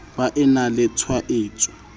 ba e na le tshwaetso